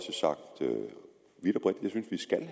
hvis ministeren